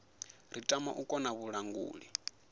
ri tama u khoḓa vhalanguli